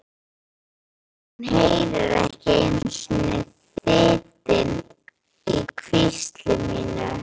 En hún heyrir ekki einu sinni þytinn í hvísli mínu.